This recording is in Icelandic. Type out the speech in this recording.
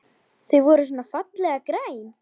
Þau voru svona fallega græn!